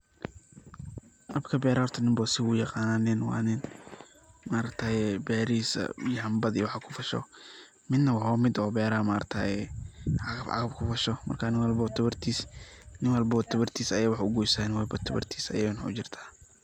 habka berahaa horta nin walbo si uyaqanaa, nin wa nin ma aragataye berahiisa yambad iyo waxas kufasho midna waxa waye midna wa mid oo beraha ma aragtaye cagaf cagaf i kufasho marka nin walbo tabartiis aya wax ugoysa nin walba tabartiis ayana ujirta